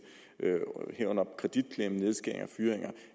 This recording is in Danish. herunder kreditklemme nedskæringer og fyringer